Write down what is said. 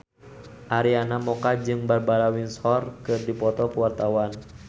Arina Mocca jeung Barbara Windsor keur dipoto ku wartawan